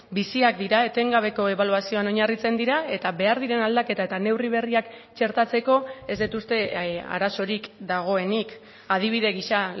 biziak dira etengabeko ebaluazioan oinarritzen dira eta behar diren aldaketa eta neurri berriak txertatzeko ez dut uste arazorik dagoenik adibide gisa